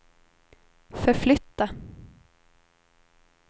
förflytta